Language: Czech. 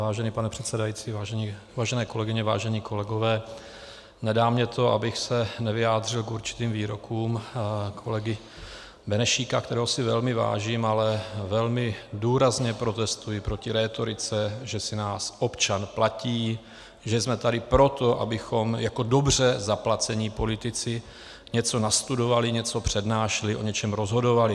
Vážený pane předsedající, vážené kolegyně, vážení kolegové, nedá mně to, abych se nevyjádřil k určitým výrokům kolegy Benešíka, kterého si velmi vážím, ale velmi důrazně protestuji proti rétorice, že si nás občan platí, že jsme tady proto, abychom jako dobře zaplacení politici něco nastudovali, něco přednášeli, o něčem rozhodovali.